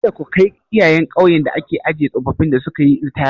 Kada ku kai iyayen ƙauyen da ake ajiye tsofaffin da sukayi ritaya.